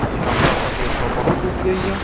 इ हमरा सब के ऐठा बहुत उपजे या।